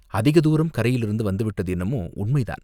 அதிக தூரம் கரையிலிருந்து வந்து விட்டது என்னமோ உண்மைதான்